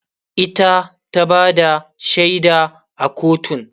ita ta Bada shaida a kotun